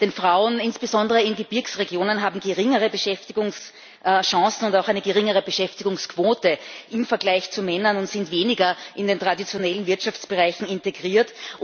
Denn Frauen, insbesondere in Gebirgsregionen, haben geringere Beschäftigungschancen und auch eine geringere Beschäftigungsquote im Vergleich zu Männern und sind weniger in den traditionellen Wirtschaftsbereichen integriert.